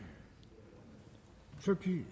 vi